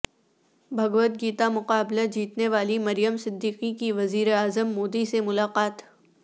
بھگوت گیتا مقابلہ جیتنے والی مریم صدیقی کی وزیر اعظم مودی سے ملاقات